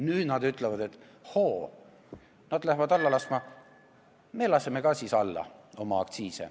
Nüüd nad ütlevad, et hoo, nad hakkavad aktsiise alla laskma, me laseme siis ka alla.